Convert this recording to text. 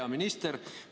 Hea minister!